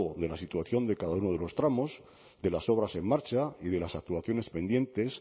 de la situación de cada uno de los tramos de las obras en marcha y de las actuaciones pendientes